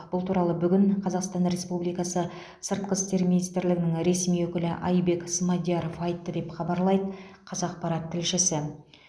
бұл туралы бүгін қазақстан республикасы сыртқы істер министрлігінің ресми өкілі айбек смадияров айтты деп хабарлайды қазақпарат тілшісі